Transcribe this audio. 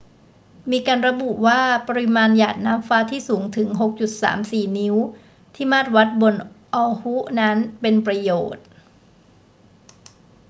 มีการระบุว่าปริมาณหยาดน้ำฟ้าที่สูงถึง 6.34 นิ้วที่มาตรวัดบน oahu นั้น เป็นประโยชน์